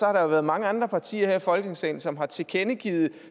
har der været mange andre partier her i folketingssalen som har tilkendegivet